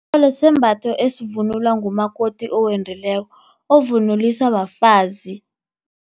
Itjhorholo sisembatho esivunulwa ngumakoti owendileko, ovunulwisa bafazi.